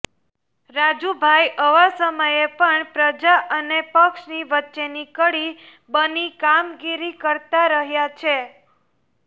રાજુભાઈ આવા સમયે પણ પ્રજા અને પક્ષની વચ્ચેની કડી બની કામગીરી કરતાં રહ્યા છે